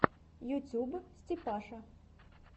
ютуб степаша